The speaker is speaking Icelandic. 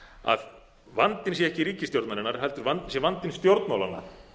að vandinn sé ekki ríkisstjórnarinnar heldur sé vandinn stjórnmálanna